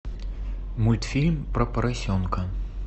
мультфильм про поросенка